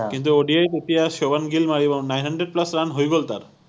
কিন্তু ODI ত এতিয়া সুভম গিল মাৰিব nine hundred plus run হৈ গল তাৰ